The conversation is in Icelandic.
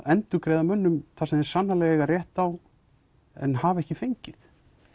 endurgreiða mönnum það sem þeir eiga rétt á en hafa ekki fengið